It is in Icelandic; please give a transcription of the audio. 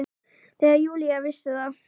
Þegar Júlía vissi að